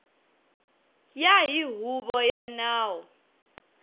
ya hi huvo ya nawu